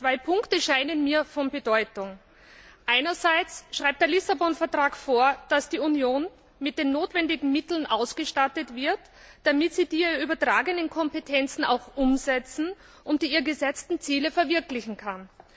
Zwei Punkte scheinen mir von Bedeutung Einerseits schreibt der Lissabon Vertrag vor, dass die Union mit den notwendigen Mitteln ausgestattet wird, damit sie die ihr übertragenen Kompetenzen auch umsetzen und die ihr gesetzten Ziele verwirklichen kann.